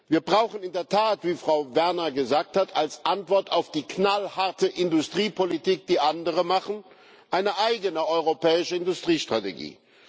Wir brauchen in der Tat, wie Frau Werner gesagt hat, als Antwort auf die knallharte Industriepolitik, die andere machen, eine eigene europäische Industriestrategie.